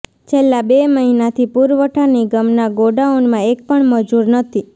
છેલ્લા બે મહિનાથી પુરવઠા નિગમના ગોડાઉનમાં એક પણ મજૂર નથી